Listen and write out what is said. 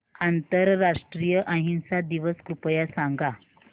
आंतरराष्ट्रीय अहिंसा दिवस कृपया सांगा